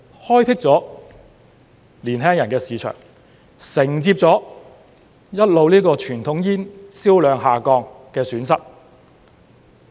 開闢了年輕人的市場，承接了傳統煙銷量一直下降的損失。